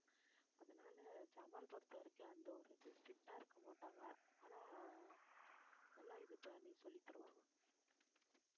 அதனால ஜமால் பொறுத்தவரைக்கும் அந்த ஒரு strict ஆ இருக்க மாட்டாங்க ஆனா நல்லா இது பண்ணி சொல்லித் தருவாங்க